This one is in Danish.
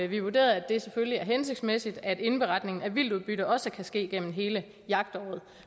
vi vurderet at det selvfølgelig er hensigtsmæssigt at indberetningen af vildtudbytte også kan ske gennem hele jagtåret